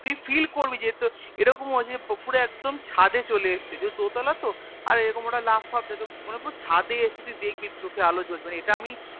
তুই Feel করবি যে তোর এরকম হয়েছে উপরে একদম ছাদে চলে এসেছে যে দোতালা তো আর একরকম ওরা লাফ ফাপ দেয় মানে পুরো ছাদে এসছে তুই দেখবি চোখে আলো জ্বলছে মানে এটা আমি